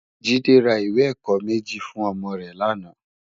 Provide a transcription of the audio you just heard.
Jide rá iwé èkò méji fún òmò rè làná